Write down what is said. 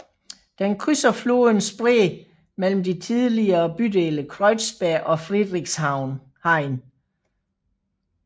Den krydser floden Spree mellem de tidligere bydele Kreuzberg og Friedrichshain